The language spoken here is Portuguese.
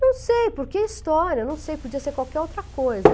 Não sei, porque é história, não sei, podia ser qualquer outra coisa.